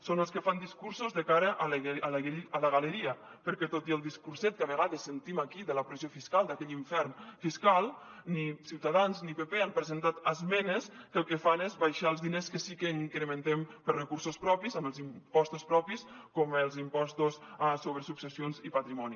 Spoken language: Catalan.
són els que fan discursos de cara a la galeria perquè tot i el discurset que a vegades sentim aquí de la pressió fiscal d’aquell infern fiscal ni ciutadans ni pp han presentat esmenes que el que fan és abaixar els diners que sí que incrementem per a recursos propis amb els impostos propis com els impostos sobre successions i patrimoni